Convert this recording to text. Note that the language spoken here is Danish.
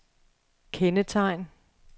kendetegn